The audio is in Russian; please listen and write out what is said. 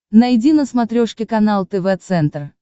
найди на смотрешке канал тв центр